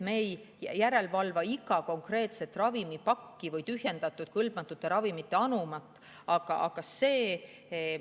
Me ei valva iga konkreetse ravimipaki või tühjendatud kõlbmatute ravimite anuma järele.